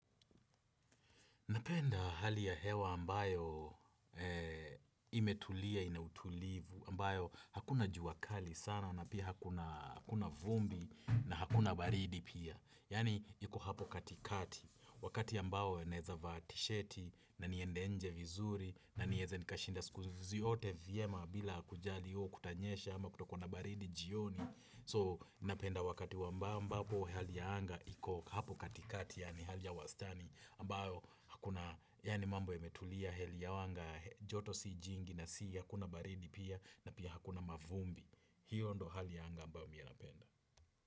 Napenda hali ya hewa ambayo imetulia ina utulivu, ambayo hakuna juakali sana na pia hakuna vumbi na hakuna baridi pia. Yaani iko hapo katikati, wakati ambao naeza vaa tisheti na niende nje vizuri na nieze nikashinda siku zote vyema bila kujali ooh kutanyesha ama kutakuwa na baridi jioni. So napenda wakati wa ambao ambapo hali ya anga iko hapo katikati yaani hali ya wastani ambayo hakuna yaani mambo yametulia hali ya anga joto si jingi na si ya hakuna baridi pia na pia hakuna mavumbi. Hiyo ndo hali ya anga ambao mi napenda.